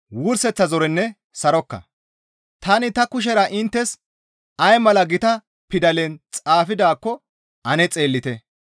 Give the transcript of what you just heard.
Tani ta kushera inttes ay mala gita pidalen xaafidaakko ane xeellite.